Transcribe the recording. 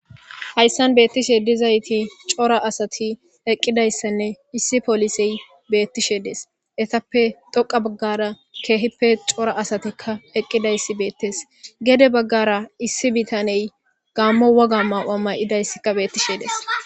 Hayisani beitishe diizayit cora asatika eqiidayisan issi poolise beetishe deasi etaape xooqa bagara keehip cora asati eqiidayis beates geede bagara issi biitan gaamo woga mayo mayidasika beatishe deasi.